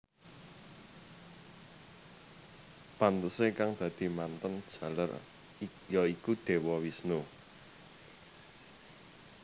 Pantesé kang dadi mantèn jaler ya iku Dewa Wisnu